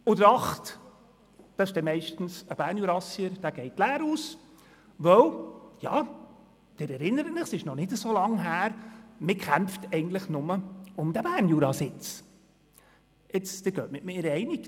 Der Achte ist dann meist ein Bernjurassier, und der geht leer aus, weil – Sie erinnern sich, denn es ist noch nicht so lange her – man eigentlich nur um diesen Sitz des Berner Juras kämpft.